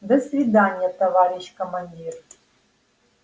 до свидания товарищ командир